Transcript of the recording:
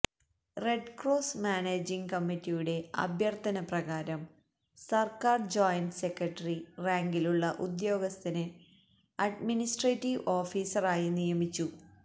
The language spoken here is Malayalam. റെഡ്ക്രോസ് മാനേജിംഗ് കമ്മറ്റിയുടെ അഭ്യര്ത്ഥന പ്രകാരം സര്ക്കാര് ജോയിന്റ് സെക്രട്ടറി റാങ്കിലുളള ഉദ്യോഗസ്ഥനെ അഡ്മിനിസ്ട്രേറ്റീവ് ഓഫീസറായി നിയമിച്ചു